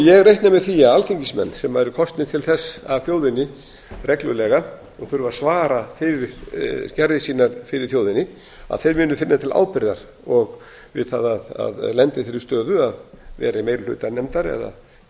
ég reikna með því að alþingismenn sem eru kosnir til þess af þjóðinni reglulega og þurfa að svara fyrir gerðir sínar fyrir þjóðinni að þeir muni finna til ábyrgðar við það að lenda í þeirri stöðu að vera í meiri hluta nefndar eða jafnvel